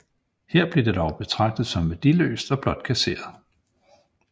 Her blev det dog betragtet som værdiløst og blot kasseret